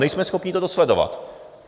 Nejsme schopni to dosledovat."